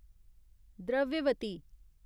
Dravyavati